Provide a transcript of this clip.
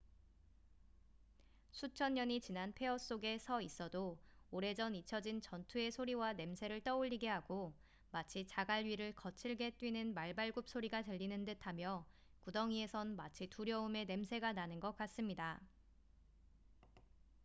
수천 년이 지난 폐허 속에 서 있어도 오래전 잊혀진 전투의 소리와 냄새를 떠올리게 하고 마치 자갈 위를 거칠게 뛰는 말발굽 소리가 들리는 듯하며 구덩이에선 마치 두려움의 냄새가 나는 것 같습니다